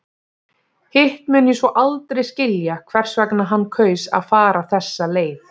Hitt mun ég svo aldrei skilja hvers vegna hann kaus að fara þessa leið.